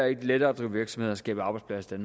ikke lettere at drive virksomhed og skabe arbejdspladser i